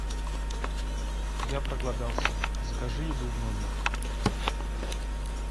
я проголодался закажи еду в номер